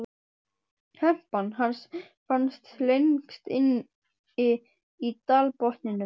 Hempan hans fannst lengst inni í dalbotninum.